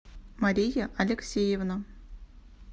мария алексеевна